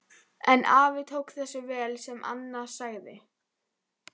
En afi tók þessu vel sem Anna sagði.